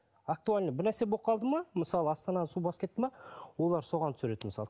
актуальный бір нәрсе болып қалды ма мысалы астананы су басып кетті ме олар соған түсіреді мысалы